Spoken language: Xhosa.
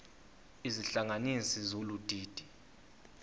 izihlanganisi zolu didi